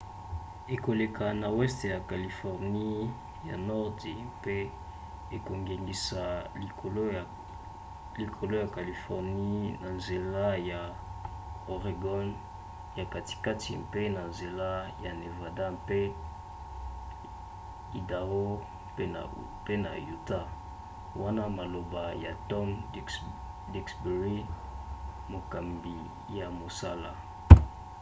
ekoleka na weste ya californie ya nordi mpe ekongengisa likolo ya californie na nzela ya oregon ya katikati mpe na nzela ya nevada mpe idao pe na utah,” wana maloba ya tom duxbury mokambi ya mosala